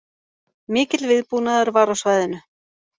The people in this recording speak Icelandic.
Mikill viðbúnaður var á svæðinu